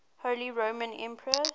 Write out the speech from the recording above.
holy roman emperors